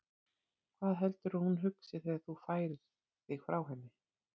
Hvað heldurðu að hún hugsi þegar þú færir þig frá henni?